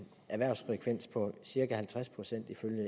erhvervsfrekvens på cirka halvtreds procent ifølge